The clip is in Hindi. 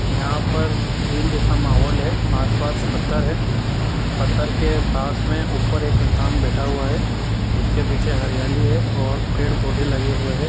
यहां पर झील जैसा माहौल है आस-पास पत्थर है पत्थर के पास में ऊपर एक इंसान बैठा हुआ है। जिसके पीछे हरियाली है और पेड़ पौधे लगे हुए हैं।